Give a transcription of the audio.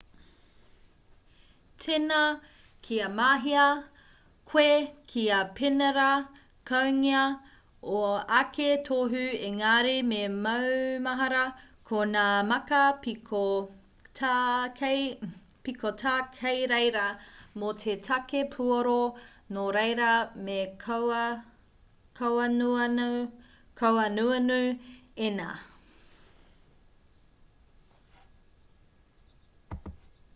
tēnā kia mahea koe kia penerākaungia ō ake tohu ēngari me maumahara ko ngā māka piko tā kei reira mō te take puoro nōreira me kauanuanu ēnā